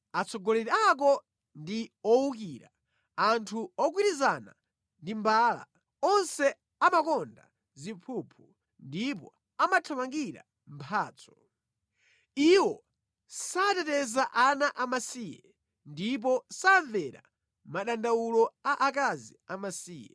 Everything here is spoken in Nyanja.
Atsogoleri ako ndi owukira, anthu ogwirizana ndi mbala; onse amakonda ziphuphu ndipo amathamangira mphatso. Iwo sateteza ana amasiye; ndipo samvera madandawulo a akazi amasiye.